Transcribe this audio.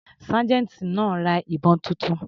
Sergeant náà ra ìbọn titun.